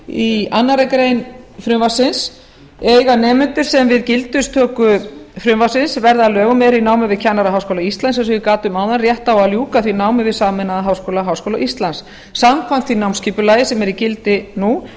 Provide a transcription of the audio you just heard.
í annarri grein frumvarpsins eiga nemendur sem við gildistöku frumvarpsins verða að lögum eru í námi við kennaraháskóla íslands eins og ég gat um áðan rétt á að ljúka því námi við sameinaða háskóla háskóla íslands samkvæmt því námsskipulagi sem er í gildi nú